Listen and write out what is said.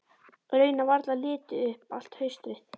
Raunar varla litið upp allt haustið.